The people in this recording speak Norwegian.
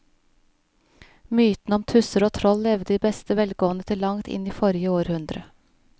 Mytene om tusser og troll levde i beste velgående til langt inn i forrige århundre.